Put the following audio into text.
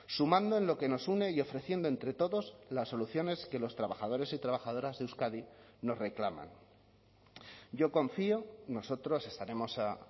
sumando en lo que nos une y ofreciendo entre todos las soluciones que los trabajadores y trabajadoras de euskadi nos reclaman yo confío nosotros estaremos a